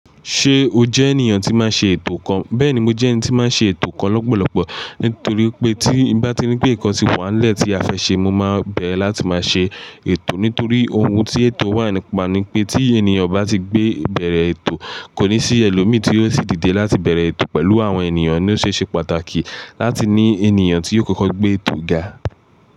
Ṣé o jẹ́ ènìyàn tí máa ṣe ètò nkan? Bẹ́ẹ̀ni, mo jẹ́ ẹni tí máa ń ṣe ètò nkan lọ́pọ̀lọpọ̀, nítorí pé tí bá ti rí pé nǹkan ti wà nílẹ̀ tí a fẹ́ ṣe, mo máa bẹ̀rẹ̀ láti máa ṣe ètò nítorí ohun tí ètò wà ni pa ní pé, tí ènìyàn bá ti gbé bẹ̀rẹ̀ ètò, kò ní sí ẹlòmíì tí yóò ṣì dìde láti bẹ̀rẹ̀ ètò pẹ̀lú àwọn ènìyàn, ni ó ṣe ṣe pàtàkì láti ní ènìyàn tí yó kọ́kọ́ gbé ètò ga.